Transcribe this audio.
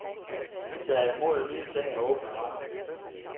De tager imod nye ting med åbne arme.